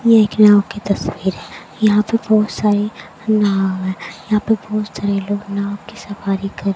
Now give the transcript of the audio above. ये एक नाव की तस्वीर है यहां पे बहुत सारे नाव है यहां पे बहुत सारे लोग नाव की सवारी कर --